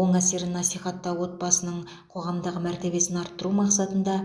оң әсерін насихаттау отбасының қоғамдағы мәртебесін арттыру мақсатында